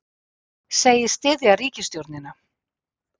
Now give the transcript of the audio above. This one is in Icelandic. Segist styðja ríkisstjórnina